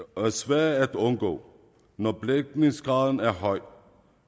er svære at undgå når belægningsgraden er høj